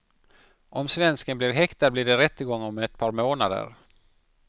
Om svensken blir häktad blir det rättegång om ett par månader.